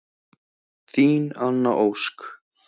Þín Anna Ósk.